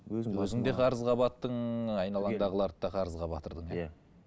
өзің де қарызға баттың айналаңдағыларды да қарызға батырдың иә иә